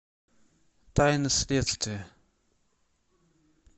тайны следствия